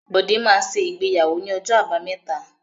Bọ́dé máa ṣe ìgbéyàwó ní ọjọ́ Àbámẹ́ta.